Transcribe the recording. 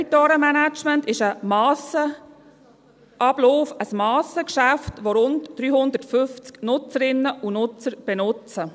Das Debitorenmanagement ist ein Massenablauf, ein Massengeschäft, das von rund 350 Nutzerinnen und Nutzer benutzt wird.